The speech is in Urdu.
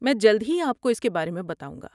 میں جلد ہی آپ کو اس کے بارے میں بتاؤں گا۔